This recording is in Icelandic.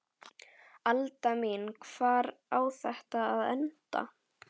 Alda mín, hvar á þetta að enda?